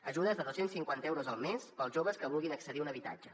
ajudes de dos cents i cinquanta euros al mes per als joves que vulguin accedir a un habitatge